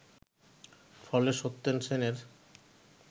ফলে সত্যেন সেনের